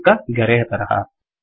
ಚಿಕ್ಕ ಗೆರೆಯ ತರಹ